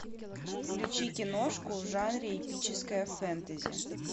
включи киношку в жанре эпическое фентази